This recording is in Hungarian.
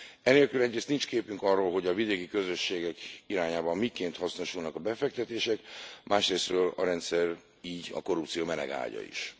Enélkül egyrészt nincs képünk arról, hogy a vidéki közösségek irányában miként hasznosulnak a befektetések, másrészről a rendszer így a korrupció melegágya is.